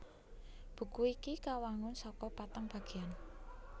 Buku iki kawangun saka patang bagéan